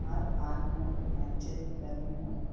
और पार्क में कुछ बेंचेस भी लगे हुए हैं।